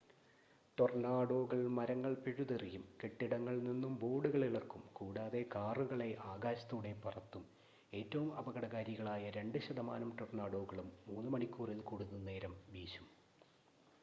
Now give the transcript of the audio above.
ടൊർണാഡോകൾ മരങ്ങൾ പിഴുതെറിയും കെട്ടിടങ്ങളിൽ നിന്നും ബോർഡുകൾ ഇളക്കും കൂടാതെ കാറുകളെ ആകാശത്തൂടെ പറത്തും ഏറ്റവും അപകടകാരികളായ 2 ശതമാനം ടൊർണാഡോകളും 3 മണിക്കൂറിൽ കൂടുതൽ നേരം വീശും